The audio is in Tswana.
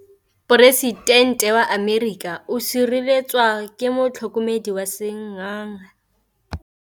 Poresitêntê wa Amerika o sireletswa ke motlhokomedi wa sengaga.